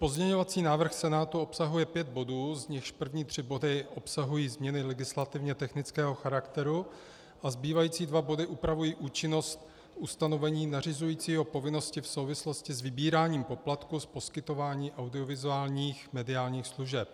Pozměňovací návrh Senátu obsahuje pět bodů, z nichž první tři body obsahují změny legislativně technického charakteru a zbývající dva body upravují účinnost ustanovení nařizujícího povinnosti v souvislosti s vybíráním poplatků z poskytování audiovizuálních mediálních služeb.